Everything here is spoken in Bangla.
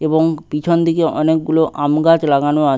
এবং পিছন দিকে অনেকগুলো আমগাছ লাগানো আছ--